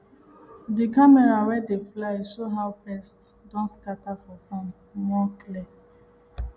di camera wey dey fly show how pest don scatter for farm more clear